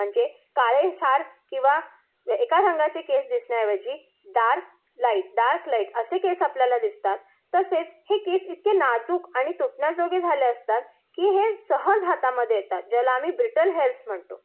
म्हणजे काळेशार किंवा एका रंगाचे केस दिसण्याऐवजी डार्क, लाइट, डार्क, लाइट असे केस आपल्याला दिसतात. तसेच हे केस इतके नाजुक आणि तुटण्याजोगे झाले असतात की हे सहज हातामध्ये येतात. त्याला आम्ही बृटल हेयर्स म्हणतो.